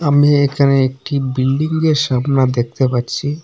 আমি এখানে একটি বিল্ডিংয়ের সামনা দেখতে পারছি।